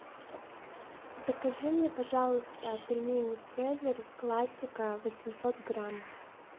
закажи мне пожалуйста пельмени цезарь классика восемьсот грамм